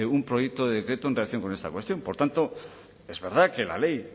un proyecto de decreto en relación con esta cuestión por tanto es verdad que la ley